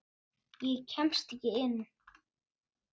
Ég kemst ekki inn.